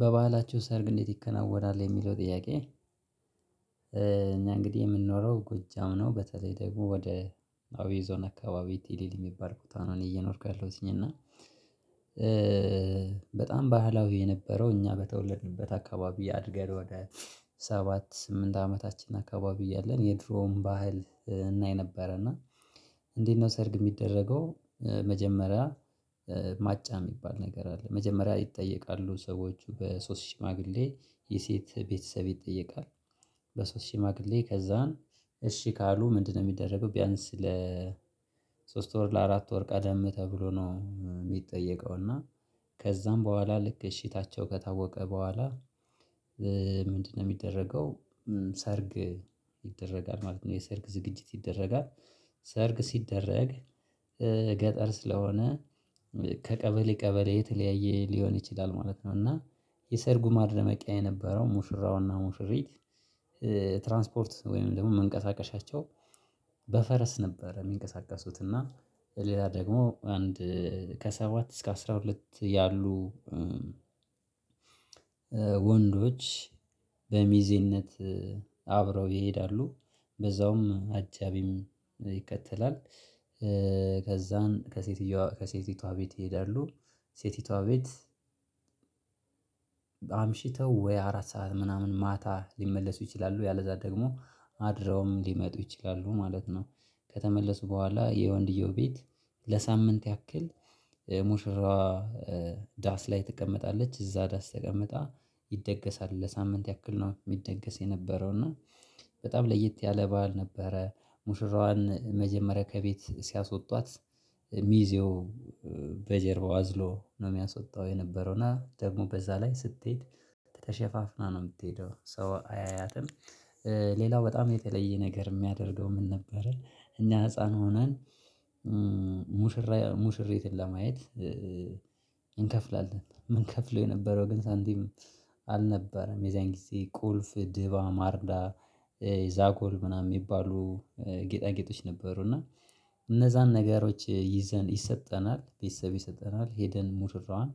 በባህላችሁ ሰርግ እንዴት ይከናወናል የሚለው ጥያቄ? እኛ እንግዲህ የምንኖረው ጎጃም ነው በተለይ ደግሞ ወደ አብይ ዞን አካባቢ ትሊል የሚባል ቦታ ነው። እኔ እየኖርኩ ያለሁትኝ እና በጣም ባህላዊ የነበረው እኛ በተወለድንበት አካባቢ አድገን ወደ ሰባት ስምንት አመታችን አካባቢ እያለን የድሮውን ባህል እናይ ነበረ እና እንዴት ነው ሰርግ የሚደረገው? መጀመሪያ ማጫ የሚባል ነገር አለ መጀመሪያ ይጠየቃሉ ሰዎች በሶስት ሽማግሌ የሴት ቤተሰብ ይጠየቃል። በሶስት ሽማግሌ ከዛን እሺ ካሉ ምንድነው የሚደረገው ቢያንስ ለ ሶስት ወር ለአራት ወር ቀደም ተብሎ ነው። የሚጠየቀው እና ከዛም በኋላ ልክ እሺታቸው ከታወቀ በኋላ ምንድነው የሚደረገው? ሰርግ ይደረጋል ማለት ነው የሰርግ ዝግጅት ይደረጋል ሰርግ ሲደረግ ገጠር ስለሆነ ከቀበሌ ቀበሌ የተለያየ ሊሆን ይችላል ማለት ነው። እና የሰርጉ ማድረመቂያ የነበረው ሙሽራውና ሙሽሪት ትራንስፖርት ወይም ደግሞ መንቀሳቀሻቸው በፈረስ ነበር የሚንቀሳቀሱት። እና ሌላ ደግሞ አንድ ከሰባት እስከ አስራ ሁለት ያሉ ወንዶች በሚዜነት አብረው ይሄዳሉ። በዛውም አጃቢም ይከተላል ከዛን ከሴትየዋ ከሴቲቷ ቤት ይሄዳሉ ሴቲቷ ቤት አምሽተው ወይ አራት ሰዓት ምናምን ማታ ሊመለሱ ይችላሉ ያለዛ ደግሞ አድረውም ሊመጡ ይችላሉ ማለት ነው። ከተመለሱ በኋላ የወንድየው ቤት ለሳምንት ያክል የሙሽራዋ ዳስ ላይ ትቀመጣለች እዛ ዳስ ተቀምጣ ይደገሳል ለሳምንት ያክል ነው የሚደገስ የነበረው። እና በጣም ለየት ያለ በዓል ነበረ ሙሽራዋን መጀመሪያ ከቤት ሲያስወጧት ሚዜው በጀርባው አዝሎ ነው የሚያስወጣው የነበረው እና ደግሞ በዛ ላይ ስትሄድ ተሸፋፍና ነው የምትሄደው ሰው አያያትም። ሌላው በጣም የተለየ ነገር የሚያደርገው ምን ነበረ? እኛ ህፃን ሆነን ሙሽራ ሙሽሪትን ለማየት እንከፍላለን የምንከፍለው የነበረው ግን ሳንቲም አልነበረም የዛን ጊዜ ቁልፍ ድባ ማርዳ ዛጎል ምናምን የሚባሉ ጌጣጌጦች ነበሩ። እና እነዛን ነገሮች ይዘን ይሰጠናል ቤተሰብ ይሰጠናል ሄደን ሙሽራዋን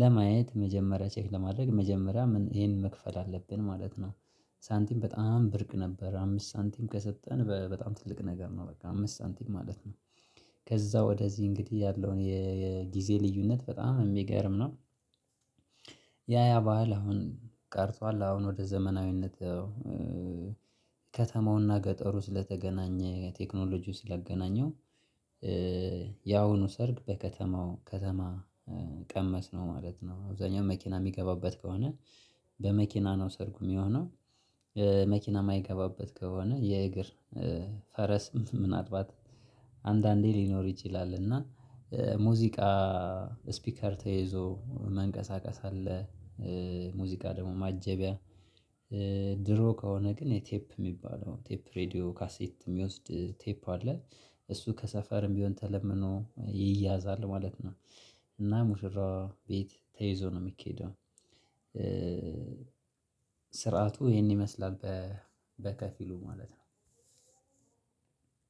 ለማየት መጀመሪያ ቼክ ለማድረግ መጀመሪያ ምን ይሄን መክፈል አለብን ማለት ነው። ሳንቲም በጣም ብርቅ ነበረ አምስት ሳንቲም ከሰጠን በጣም ትልቅ ነገር ነው በቃ አምስት ሳንቲም ማለት ነው። ከዛ ወደዚህ እንግዲህ ያለውን የጊዜ ልዩነት በጣም የሚገርም ነው። ያ ያ ባህል አሁን ቀርቷል አሁን ወደ ዘመናዊነት ከተማውና ገጠሩ ስለተገናኘ ቴክኖሎጂው ስላገናኘው ያሁኑ ሰርግ በከተማው ከተማ ቀመስ ነው ማለት ነው። አብዛኛው መኪና የሚገባበት ከሆነ በመኪና ነው ሰርጉ የሚሆነው። መኪና የማይገባበት ከሆነ የእግር ፈረስ ምናልባት አንዳንዴ ሊኖር ይችላል። እና ሙዚቃ ስፒከር ተይዞ መንቀሳቀስ አለ። ሙዚቃ ደግሞ ማጀቢያ ድሮ ከሆነ ግን የቴፕ የሚባለው ቴፕ ሬድዮ ካሴት የሚወስድ ቴፕ አለ እሱ ከሰፈርም ቢሆን ተለምኖ ይያዛል ማለት ነው። እና ሙሽራ ቤት ተይዞ ነው የሚኬደው። ስርዓቱ ይሄን ይመስላል በከፊሉ ማለት ነው።